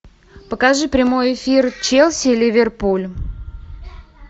покажи прямой эфир челси ливерпуль